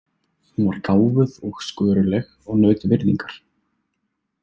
Hún var gáfuð og sköruleg og naut virðingar.